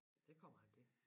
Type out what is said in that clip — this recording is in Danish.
Det kommer han til